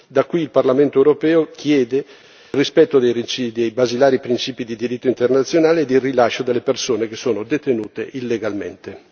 Da qui il Parlamento europeo chiede il rispetto dei basilari principi di diritto internazionale e il rilascio delle persone che sono detenute illegalmente.